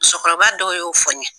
Musokɔrɔba dɔw y'o fɔ n ye.